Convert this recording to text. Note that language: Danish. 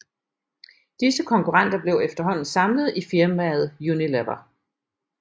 Disse konkurrenter blev efterhånden samlet i firmaet Unilever